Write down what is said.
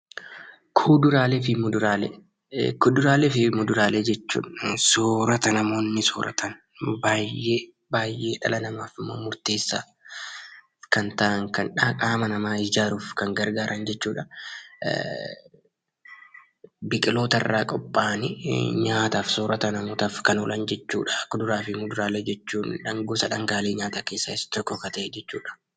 Kuduraalee fi muduraalee jechuun soorata namoonni sooratan baay'ee dhala namaatiif immoo murteessaa kan ta'an kan qaama namaa ijaaruuf kan gargaaran jechuudha. Biqiloota irraa qophaa'anii nyaataaf soorata namootaaf kan oolan jechuudha. Kuduraalee fi muduraalee jechuun gosa dhangaalee nyaataa keessaa Isa tokko kan ta'e jechuudha.